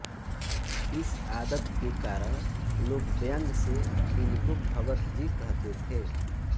इस आदत के कारण लोग व्यंग से इनको भगतजी कहते थे